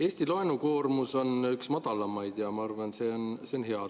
Eesti laenukoormus on üks madalamaid ja ma arvan, et see on hea.